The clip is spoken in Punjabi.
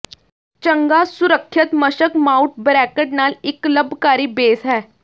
ਚੰਗਾ ਸੁਰੱਖਿਅਤ ਮਸ਼ਕ ਮਾਊਟ ਬਰੈਕਟ ਨਾਲ ਇੱਕ ਲੰਬਕਾਰੀ ਬੇਸ ਹੈ